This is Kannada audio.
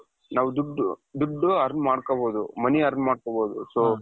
ನಾವು ದುಡ್ಡು ದುಡ್ಡು earn ಮಾಡ್ಕೋಬಹುದು money earn ಮಾಡ್ಕೋಬಹುದು so,